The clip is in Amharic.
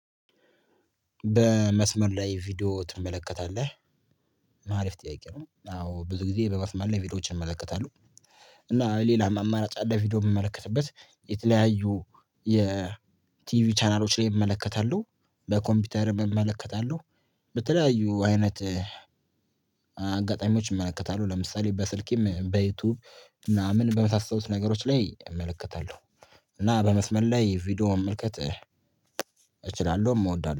በመስመር ላይ ቪዲዮ ትመለከታለህ? አሪፍ ጥያቄ ነው አዎ ብዙ ጊዜ በመስመር ላይ ቪዲዮዎችን እመለከታለሁ። እና ሌላም አማራጭ ደግሞ ቪዲዮ ምመለከትበት የተለያዩ የቲቪ ቻናሎች ላይ እመለከታለሁ። በኮምፒውተር እመለከታለሁ። በተለያዩ አይነት አጋጣሚዎች እመለከታለሁ ለምሳሌ በስልኬም በዩቲዩብ ምናምን በመሳሰለት ነገሮች ላይ እመለከታለሁ። እና በመስመር ላይ ቪዲዮ መመልከት እችላለሁም እወዳለሁ